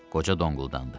Qoca donquldandı.